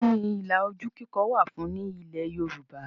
Kí ni ilà ojú kíkọ wà fún ní ilẹ̀ Yorùbá?